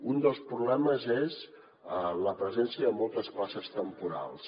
un dels problemes és la presència de moltes places temporals